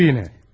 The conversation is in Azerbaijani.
Nə oldu yenə?